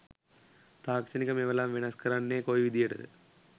තාක්ෂණික මෙවලම් වෙනස් කරන්නෙ කොයි විදියට ද?